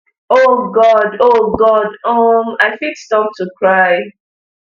oh god oh god um i fit stop to cry